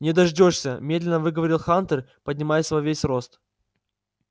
не дождёшься медленно выговорил хантер поднимаясь во весь рост